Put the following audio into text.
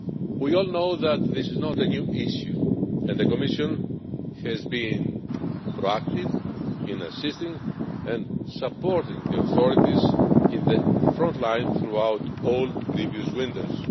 We all know that this is not a new issue, and the Commission has been proactive in assisting and supporting the authorities on the front line throughout all previous winters.